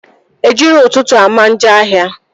Ejiro ụtụtụ ama njọ ahịa